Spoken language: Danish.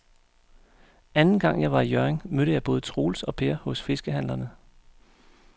Anden gang jeg var i Hjørring, mødte jeg både Troels og Per hos fiskehandlerne.